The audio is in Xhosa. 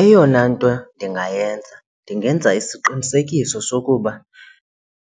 Eyona nto ndingayenza, ndingenza isiqinisekiso sokuba